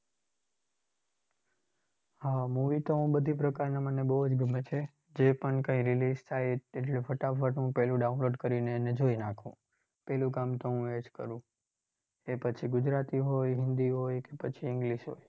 હા movie તો હું બધી પ્રકારના મને બૌ જ ગમે છે. જે પણ કંઈ release થાય એ તે જે ફટાફટ એટલે પેલું download કરીને જોઈ નાખું. પહેલું કામ તો હું એ જ કરું. એ પછી ગુજરાતી હોય, હિન્દી હોય કે પછી English હોય.